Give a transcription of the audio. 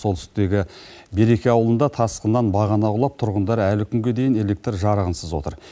солтүстіктегі береке ауылында тасқыннан бағана құлап тұрғындар әлі күнге дейін электр жарығынсыз отыр